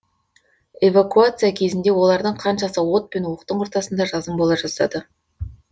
эвакуация кезінде олардың қаншасы от пен оқтың ортасында жазым бола жаздады